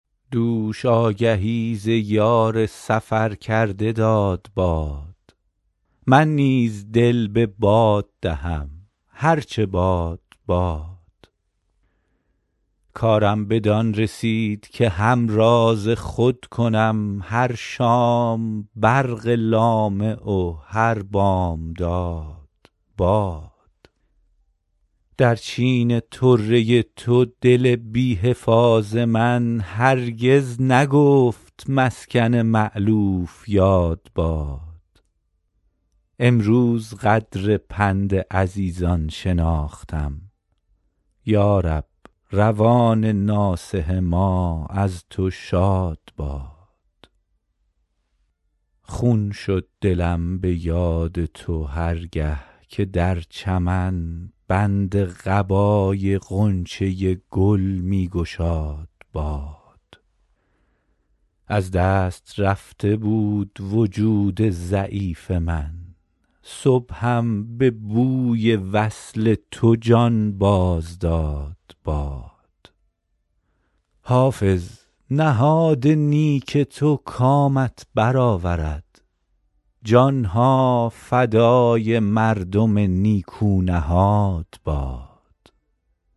دوش آگهی ز یار سفر کرده داد باد من نیز دل به باد دهم هر چه باد باد کارم بدان رسید که همراز خود کنم هر شام برق لامع و هر بامداد باد در چین طره تو دل بی حفاظ من هرگز نگفت مسکن مألوف یاد باد امروز قدر پند عزیزان شناختم یا رب روان ناصح ما از تو شاد باد خون شد دلم به یاد تو هر گه که در چمن بند قبای غنچه گل می گشاد باد از دست رفته بود وجود ضعیف من صبحم به بوی وصل تو جان باز داد باد حافظ نهاد نیک تو کامت بر آورد جان ها فدای مردم نیکو نهاد باد